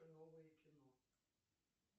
новое кино